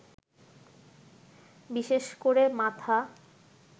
বিশেষ করে মাথা